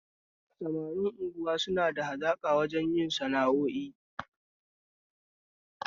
Samarin unguwa suna da hazaƙa wajen yin sana'o'in su